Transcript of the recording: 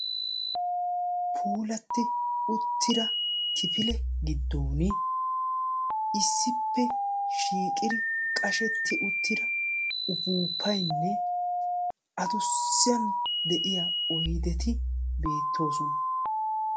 Puulatti uttida kifile giddon issippe shiiqidi qashetti uttida upuuppaynne addussan de'iya oydeti beettoosona.